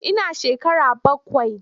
Ina shekara bakwai.